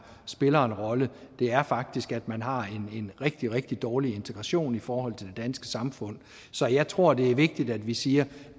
spiller en rolle det er faktisk at man har en rigtig rigtig dårlig integration i forhold til danske samfund så jeg tror det er vigtigt at vi siger